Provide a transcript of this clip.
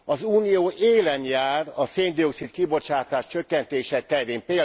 Az Unió élen jár a szén dioxid kibocsátás csökkentése terén.